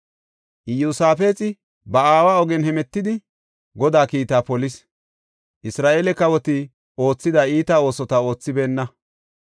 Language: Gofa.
Iyosaafexi ba aawa ogen hemetidi Godaa kiita polis. Isra7eele kawoti oothida iita oosota oothibeenna.